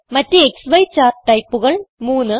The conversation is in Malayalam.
മറ്റ് ക്സി ചാർട്ട് ടൈപ്പുകൾ 3